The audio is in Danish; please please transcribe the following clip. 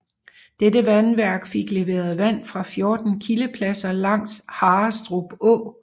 Dette vandværk fik leveret vand fra 14 kildepladser langs Harrestrup Å